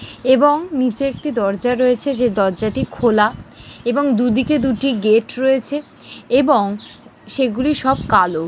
এবং নীচে একটি দরজা রয়েছে যে দরজাটি খোলা এবং দুদিকে দুটি গেট রয়েছে এবং-সেগুলি সব কালো ।